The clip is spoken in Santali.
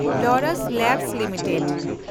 Laurus labs limited